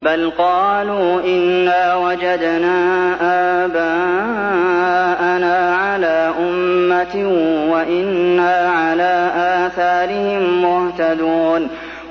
بَلْ قَالُوا إِنَّا وَجَدْنَا آبَاءَنَا عَلَىٰ أُمَّةٍ وَإِنَّا عَلَىٰ آثَارِهِم مُّهْتَدُونَ